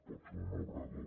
pot ser un obrador